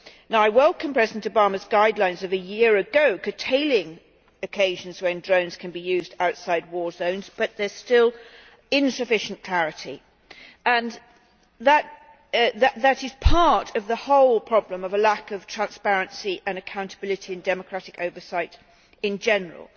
Now, I welcome President Obama's guidelines of a year ago curtailing occasions when drones can be used outside war zones, but there is still insufficient clarity, and that is part of the whole problem of a lack of transparency and accountability in democratic oversight in general.